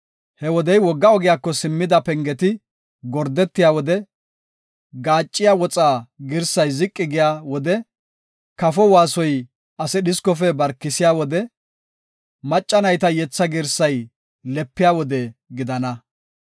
He wodey, wogga ogiyako simmida pengeti gordetiya wode, gaacciya woxa girsay ziqi giya wode, kafo waasoy ase dhiskofe barkisiya wode, macca nayta yetha girsay lepiya wode gidana.